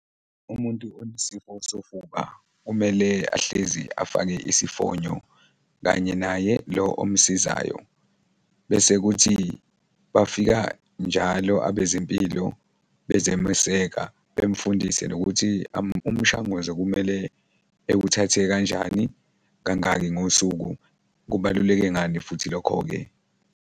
Umuntu onesifo sofuba kumele ahlezi afake isifonyo kanye naye lo omsizayo bese kuthi bafika njalo abezempilo bezomeseka bemfundise nokuthi umshanguzo kumele ewuthathe kanjani, kangaki ngosuku, kubaluleke ngani futhi lokho-ke.